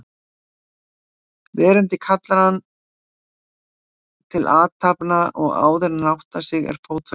Veröldin kallar hann til athafna og áðuren hann áttar sig er fótfestan horfin.